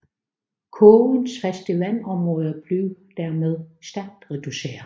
Kogens faste vandområde blev dermed stærkt reduceret